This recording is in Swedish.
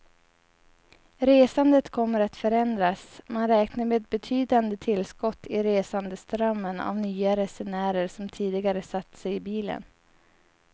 Resandet kommer att förändras, man räknar med betydande tillskott i resandeströmmen av nya resenärer som tidigare satt sig i bilen.